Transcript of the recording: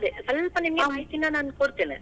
ಅದೇ ಸಲ್ಪ ನಿಮಗೆ ಮಾಹಿತಿನಾ ನಿಮ್ಗೆ ಕೊಡ್ತೇನೆ.